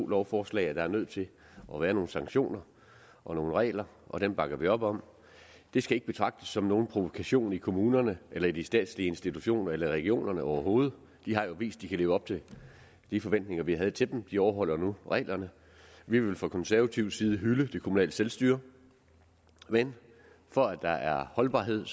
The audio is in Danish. lovforslag at der er nødt til at være nogle sanktioner og nogle regler og dem bakker vi op om det skal ikke betragtes som nogen provokation i kommunerne eller i de statslige institutioner eller i regionerne overhovedet de har jo vist de kan leve op til de forventninger vi havde til dem og de overholder nu reglerne vi vil fra konservativ side hylde det kommunale selvstyre men for at der er holdbarhed